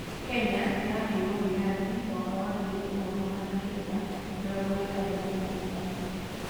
Kenya nĩyaheirwo wĩyathi mwaka wa ngiri ĩmwe magana kenda mĩrongo ĩtandatũ na ĩtatũ.